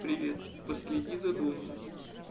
привет последи за домом